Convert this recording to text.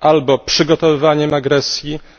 albo przygotowywaniem agresji, albo atakami terrorystycznymi na to państwo?